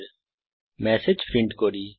এখন এই message print করি